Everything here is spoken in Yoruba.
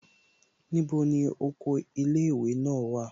Níbo ni oko ilé ìwé náà wà?